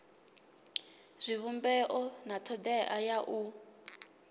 zwivhumbeo na thodea ya u